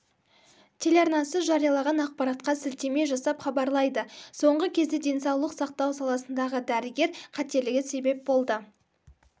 телеарнасы жариялаған ақпаратқа сілтеме жасап хабарлайды соңғы кезде денсаулық сақтау саласындағы дәрігер қателігі себеп болды